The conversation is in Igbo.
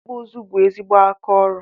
ikpụ ụzụ bụ ezigbo aka ọrụ